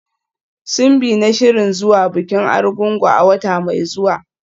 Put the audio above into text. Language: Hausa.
Simbi na shirin zuwa bikin Arugungu a wata mai zuwa.